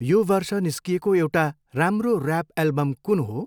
यो वर्ष निस्किएको एउटा राम्रो ऱ्याप एल्बम कुन हो?